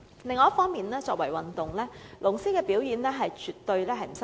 另一方面，作為一項運動，龍獅表演絕不失禮。